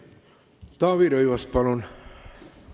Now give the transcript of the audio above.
Taavi Rõivas, palun!